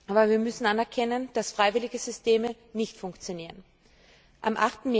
Aber wir müssen anerkennen, dass freiwillige Systeme nicht funktionieren. Am